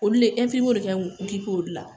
Olu le ɛnfirimiyew le kan k'u okipe olu la